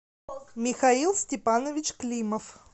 михаил степанович климов